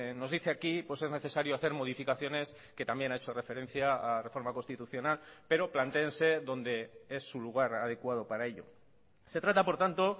nos dice aquí pues es necesario hacer modificaciones que también ha hecho referencia a la reforma constitucional pero plantéense donde es su lugar adecuado para ello se trata por tanto